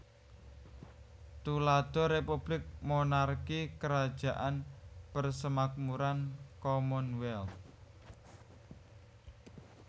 Tuladha Republik Monarki Krajaan Persemakmuran Commonwealth